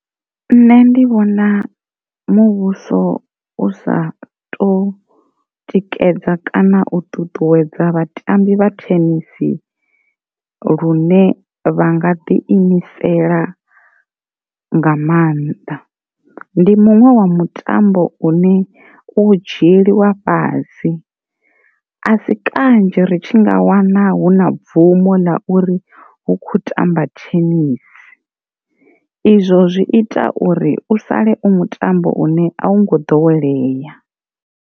Nṋe ndi vhona muvhuso u sa to tikedza kana u ṱuṱuwedza vhatambi vha thenisi lune vha nga ḓi imisela nga maanḓa. Ndi muṅwe wa mutambo une u dzhieliwa fhasi, a si kanzhi ri tshi nga wana huna bvumo ḽa uri hu kho tamba thenisi izwo zwi ita uri u sale u mutambo une a wu ngo ḓowelea.